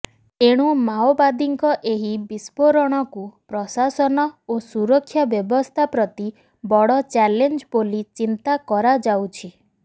ତେଣୁ ମାଓବାଦୀଙ୍କ ଏହି ବିସ୍ଫୋରଣକୁ ପ୍ରଶାସନ ଓ ସୁରକ୍ଷା ବ୍ୟବସ୍ଥା ପ୍ରତି ବଡ ଚାଲେଞ୍ଜ ବୋଲି ଚିନ୍ତା କରାଯାଉଛି